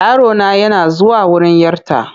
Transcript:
Yarona yana zuwa wurin 'yarta.